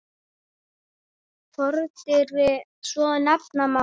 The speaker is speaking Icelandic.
Fordyri svo nefna má.